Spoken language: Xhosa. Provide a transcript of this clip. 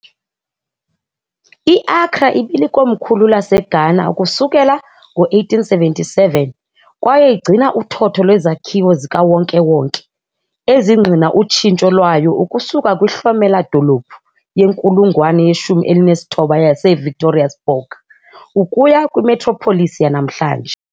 I-Accra ibilikomkhulu laseGhana ukusukela ngo-1877 kwaye igcina uthotho lwezakhiwo zikawonke-wonke ezingqina utshintsho lwayo ukusuka kwihlomela-dolophu yenkulungwane yeshumi elinesithoba yase-Victoriasborg ukuya kwi- metropolis yanamhlanje.